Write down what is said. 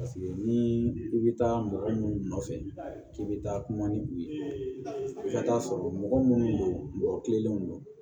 ni i bɛ taa mɔgɔ minnu nɔfɛ k'i bɛ taa kuma ni u ye i ka taa sɔrɔ mɔgɔ minnu don mɔgɔ kilennenw don